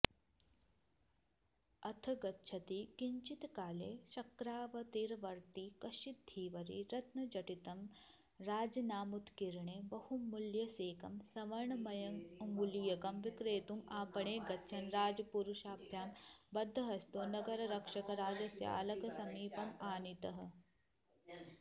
अथ गच्छति किञ्चित्काले शक्रावतारतीवर्ती कश्चिद् धीवरी रत्नजटितं राजनामोत्कीर्णे बहुमूल्यसेकं स्वर्णमयमङ्गुलीयकं विक्रेतुमापणे गच्छन् राजपुरुषाभ्यां बद्धहस्तो नगररक्षकराजश्यालकसमीपमानीतः